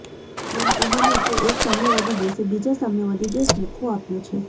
એમ કહોને કે એક સામ્યવાદી દેશે બીજા સામ્યવાદી દેશને ખો આપ્યો છે